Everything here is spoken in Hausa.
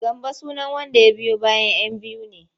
Gambo sunan wanda ya biyo bayan 'yan biyu ne.